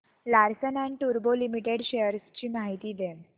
Larsen and टुर्बो Limited shares ची माहिती दे